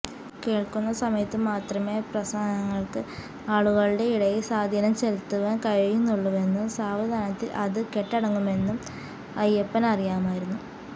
കേൾക്കുന്ന സമയത്തുമാത്രമേ പ്രസംഗങ്ങൾക്ക് ആളുകളുടെ ഇടയിൽ സ്വാധീനം ചെലുത്തുവാൻ കഴിയുകയുള്ളുവെന്നും സാവധാനത്തിൽ അത് കെട്ടടങ്ങുമെന്നും അയ്യപ്പനറിയാമായിരുന്നു